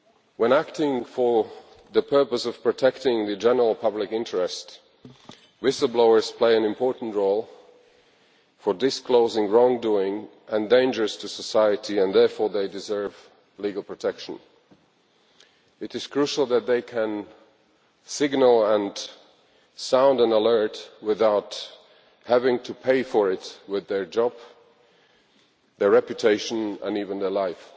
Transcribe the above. When acting for the purpose of protecting the general public interest, whistle blowers play an important role in disclosing wrong doing and dangers to society and therefore they deserve legal protection. It is crucial that they can signal and sound an alert without having to pay for it with their job, their reputation and even their life.